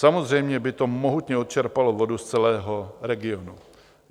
Samozřejmě by to mohutně odčerpalo vodu z celého regionu.